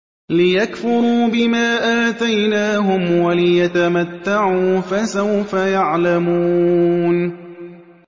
لِيَكْفُرُوا بِمَا آتَيْنَاهُمْ وَلِيَتَمَتَّعُوا ۖ فَسَوْفَ يَعْلَمُونَ